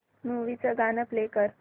movie चं गाणं play कर